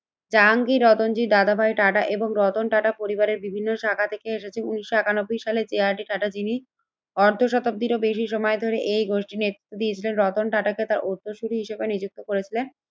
জাহাঙ্গীর রতনজি দাদাভাই টাটা এবং রতন টাটা পরিবারের বিভিন্ন শাখা থেকে এসেছে। উন্নিশশো একানব্বই সালে যে আর ডি টাটা যিনি অর্ধশতাব্দীরও বেশি সময় ধরে এই গোষ্ঠী নেতৃত্ত দিয়েছিলেন। রতন টাটাকে তার উত্তরসূরি হিসেবে নিযুক্ত করেছিলেন।